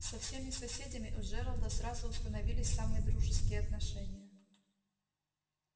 со всеми соседями у джералда сразу установились самые дружеские отношения